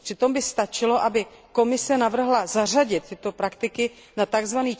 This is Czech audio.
Přitom by stačilo, aby Komise navrhla zařadit tyto praktiky na tzv.